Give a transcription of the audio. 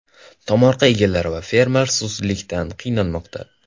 Tomorqa egalari va fermer suvsizlikdan qiynalmoqda.